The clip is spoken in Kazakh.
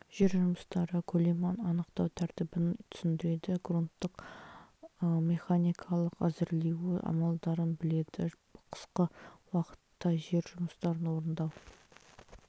жер жұмыстары көлемін анықтау тәртібін түсіндіреді грунттың механикалық әзірлеуі амалдарын біледі қысқы уақытта жер жұмыстарын орындау